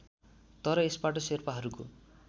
तर यसबाट शेर्पाहरूको